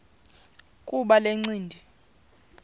kuba le ncindi